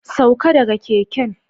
Sauka daga keken!